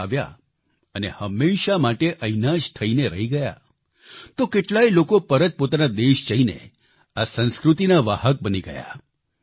ભારત આવ્યા અને હંમેશા માટે અહીંયાના જ થઈને રહી ગયા તો કેટલાય લોકો પરત પોતાના દેશ જઈને આ સંસ્કૃતિના વાહક બની ગયા